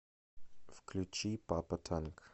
включи папа танк